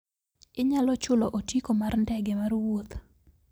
inyalo chulo otiko mar ndege mar wuoth